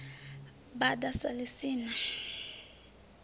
bada sa ḽi si na